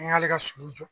An y'ale ka sogo jɔ